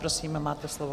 Prosím, máte slovo.